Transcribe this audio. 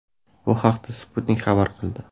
Bu haqda Sputnik xabar qildi .